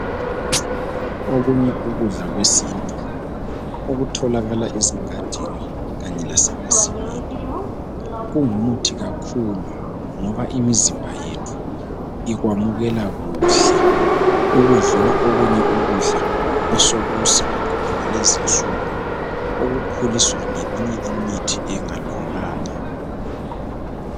Okunye ukudla kwesintu okutholakala ezingadini kanye lasemasimini kungumuthi kakhulu ngoba imizimba yethu ikwamukela kuhle ukudlula okunye ukudla osekusibakhona kulezi insuku, osekukhuliswa ngeminye imithi engalunganga.